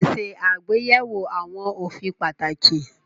Pèsè àgbéyẹ̀wò àwọn òfin pàtàkì